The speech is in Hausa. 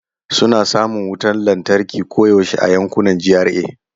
Suna samun wutar lantarki koyaushe a yankunan GRA.